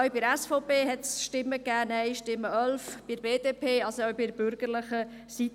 Bei der SVP gab es 11 Nein-Stimmen, und auch bei der BDP gab es Nein-Stimmen.